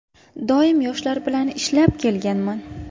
Doim yoshlar bilan ishlab kelganman.